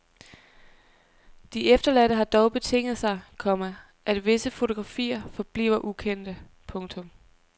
De efterladte har dog betinget sig, komma at visse fotografier forbliver ukendte. punktum